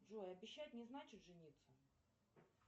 джой обещать не значит жениться